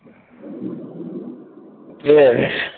ঠিক আছে।